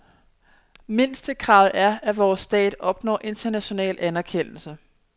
Mindstekravet er, at vores stat opnår international anerkendelse.